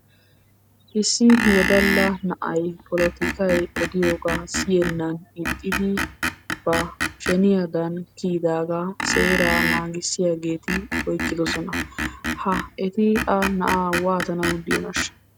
Issi woddala na'ay polottikay odiyogaa siyennan ixxidi ba sheniyadan kiyidagaa seeraa naagissiyaageeti oyqqidosona. Ha eti ha na'aa waatanawu diyonaashsha?